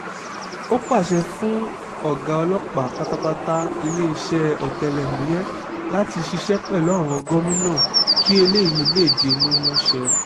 ó pàṣẹ fún ọ̀gá ọlọ́pàá pátápátá iléeṣẹ́ ọ̀tẹlẹ̀múyẹ́ láti ṣiṣẹ́ pẹ̀lú àwọn gómìnà kí eléyìí lè di mímúṣẹ